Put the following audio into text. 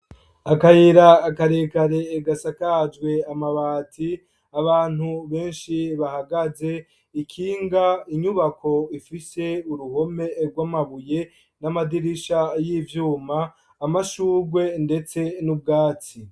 Akayira akarekare gasakajwe amabati abantu benshi bahagaze ikinga inyubako ifise uruhome rw' amabuye n'amadirisha y'ivyuma amashurwe, ndetse n'ubwatsi.